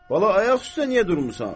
Bala, ayaq üstə niyə durmusan?